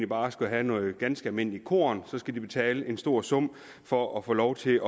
bare skal have noget ganske almindeligt korn så skal de betale en stor sum for at få lov til